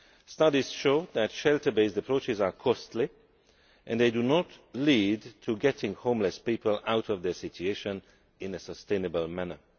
Studies show that shelter based approaches are costly, and they do not lead to getting homeless people out of their situation in a sustainable manner.